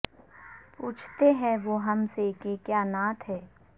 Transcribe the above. پوچھتے ہیں وہ ہم سے کہ کیا نعت ہے